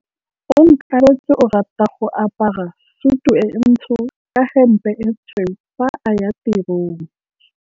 Onkabetse o rata go apara sutu e ntsho ka hempe e tshweu fa a ya tirong.